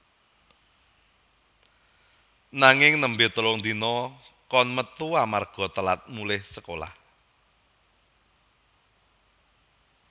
Nanging nembe telung dina kon metu amarga telat mulih sekolah